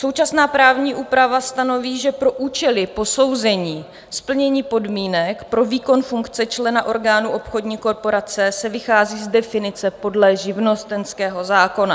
Současná právní úprava stanoví, že pro účely posouzení splnění podmínek pro výkon funkce člena orgánu obchodní korporace se vychází z definice podle živnostenského zákona.